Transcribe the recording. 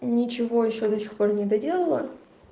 ничего ещё до сих пор не доделала